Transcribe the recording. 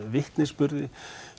vitnisburði